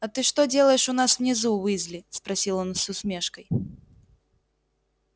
а ты что делаешь у нас внизу уизли спросил он с усмешкой